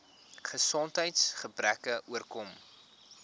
gesondheids gebreke oorkom